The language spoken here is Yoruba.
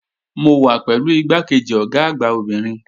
Mo wà pẹ̀lú igbákejì Ọ̀gá àgbà obìnrin